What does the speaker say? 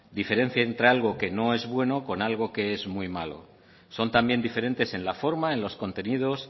diferencia entre algo que no es bueno con algo que es muy malo son también diferentes en la forma en los contenidos